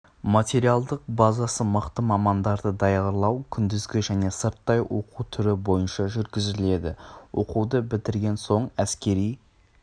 материалдық базасы мықты мамандарды даярлау күндізгі және сырттай оқу түрі бойынша жүргізіледі оқуды бітірген соң әскери